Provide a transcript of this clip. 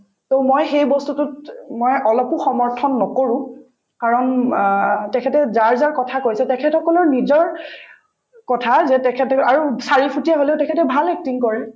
to মই সেই বস্তুটোত মই অলপো সমৰ্থন নকৰো কাৰণ অ তেখেতে যাৰ যাৰ কথা কৈছে তেখেত সকলৰ নিজৰ কথা যে তেখেতৰ আৰু চাৰি ফুটীয়া হলেও তেখেতে ভাল acting কৰে